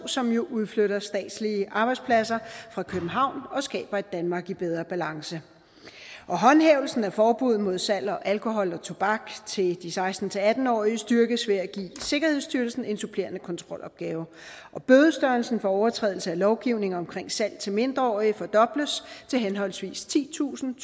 som jo udflytter statslige arbejdspladser fra københavn og skaber et danmark i bedre balance håndhævelsen af forbuddet mod salg af alkohol og tobak til de seksten til atten årige styrkes ved at give sikkerhedsstyrelsen en supplerende kontrolopgave og bødestørrelserne for overtrædelse af lovgivningen omkring salg til mindreårige fordobles til henholdsvis titusind